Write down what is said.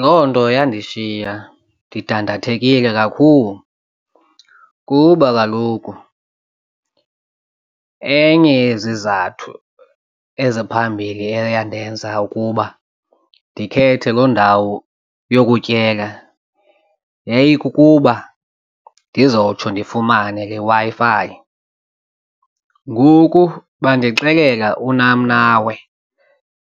Loo nto yandishiya ndidandathekile kakhulu kuba kaloku enye yezizathu eziphambili eye yandenza ukuba ndikhethe loo ndawo yokutyela yayikukuba ndizotsho ndifumane le Wi-Fi. Ngoku bandixelela unam nawe,